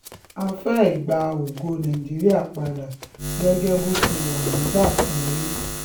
a fẹ́ ẹ gba ògo nàìjíríà padà gẹ́gẹ́ bó ṣe wà nígbà kan rí